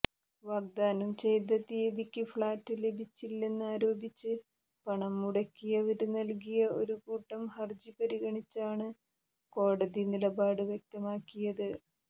വാഗ്ദാനം ചെയ്ത തീയതിക്ക് ഫ്ളാറ്റ് ലഭിച്ചില്ലെന്ന് ആരോപിച്ച് പണം മുടക്കിയവര് നല്കിയ ഒരുകൂട്ടം ഹരജി പരിഗണിച്ചാണ് കോടതി നിലപാട് വ്യക്തമാക്കിയത്